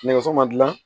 Nɛgɛso ma dilan